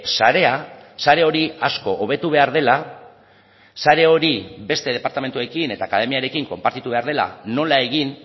sarea sare hori asko hobetu behar dela sare hori beste departamentuekin eta akademiarekin konpartitu behar dela nola egin